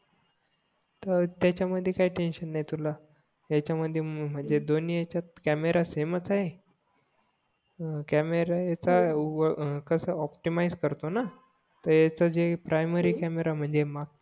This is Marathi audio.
अं त्याच्या मध्ये काय टेन्शन नाही तुला ह्याच्या मध्ये म्हणजे दोन्ही ह्याच्यात कॅमेरा सेमच आहे अं कॅमेरा ह्याचा कसा ऑप्टिमिझ करतो ना तर ह्याचा जे प्रायमरी कॅमेरा म्हणजे